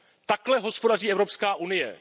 Takhle hospodaří Evropská unie.